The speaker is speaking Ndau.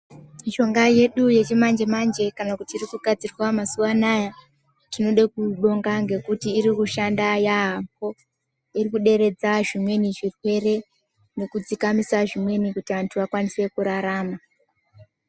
Mishonga yedu yechimanje-manje kana kuti iri kugadzirwa mazuva anaya zvinode kubonga. Ngekuti irikushanda yaamho, iri kuderedza zvimweni zvirwere nekudzikamisa zvimweni kuti antu akawanise kurarama.